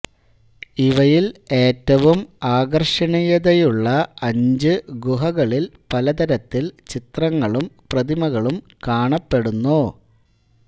ഇവയിൽ ഏറ്റവും ആകർഷണീയതയുള്ള അഞ്ച് ഗുഹകളിൽ പലതരത്തിൽ ചിത്രങ്ങളും പ്രതിമകളും കാണപ്പെടുന്നു